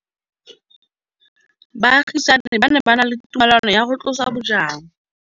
Baagisani ba ne ba na le tumalanô ya go tlosa bojang.